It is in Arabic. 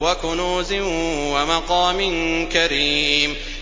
وَكُنُوزٍ وَمَقَامٍ كَرِيمٍ